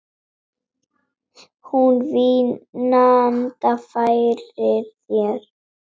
Hún vínanda færir þér.